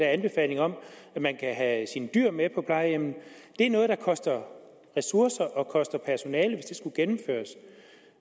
anbefaling om at man kan have sine dyr med på plejehjem det er noget der koster ressourcer og koster personale hvis det skulle gennemføres